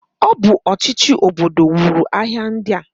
O bu ochichi obodo nwuru ahia ndia.